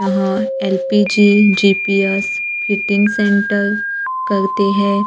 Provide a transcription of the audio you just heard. यहां LPG GPS fitting centre करते हैं।